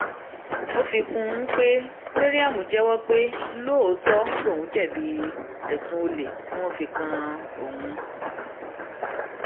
ó fi kún un pé mariam jẹwọ pé lóòótọ lòun jẹbi ẹsùn olè tí wọn fi kan òun